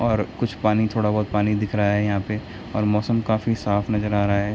और कुछ पानी थोड़ा बहुत पानी दिख रहा है यहाँ पे और मौसम काफी साफ़ नजर आ रहा है।